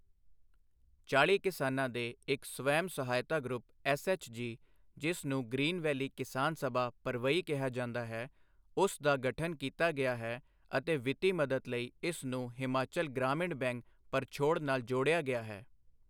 ਚਾਲ੍ਹੀ ਕਿਸਾਨਾਂ ਦੇ ਇੱਕ ਸਵੈਮ ਸਹਾਇਤਾ ਗਰੁੱਪ ਐੱਸਐੱਚਜੀ ਜਿਸ ਨੂੰ ਗਰੀਨ ਵੈਲੀ ਕਿਸਾਨ ਸਭਾ ਪਰਵਈ ਕਿਹਾ ਜਾਂਦਾ ਹੈ, ਉਸ ਦਾ ਗਠਨ ਕੀਤਾ ਗਿਆ ਹੈ ਅਤੇ ਵਿੱਤੀ ਮਦਦ ਲਈ ਇਸ ਨੂੰ ਹਿਮਾਚਲ ਗ੍ਰਾਮੀਣ ਬੈਂਕ ਪਰਛੋੜ ਨਾਲ ਜੋੜਿਆ ਗਿਆ ਹੈ।